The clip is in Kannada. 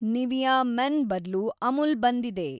ನಿವಿಯ ಮೆನ್ ಬದ್ಲು ಅಮುಲ್ ಬಂದಿದೆ